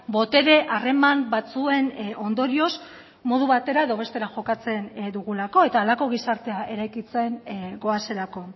botere harreman batzuen ondorioz modu batera edo bestera jokatzen dugulako eta halako gizartea eraikitzen goazelako